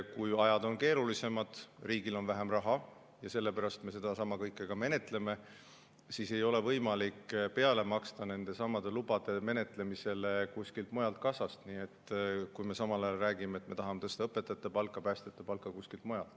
Kui ajad on keerulisemad, riigil on vähem raha – sellepärast me seda kõike menetlemegi –, siis ei ole võimalik peale maksta nendesamade lubade menetlemisele kuskilt mujalt kassast, samal ajal rääkides, et me tahame tõsta õpetajate palka ja päästjate palka kuskilt mujalt.